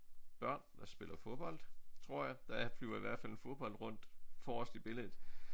Børn der spiller fodbold tror jeg der er flyver i hvert fald en fodbold rundt forrest i billedet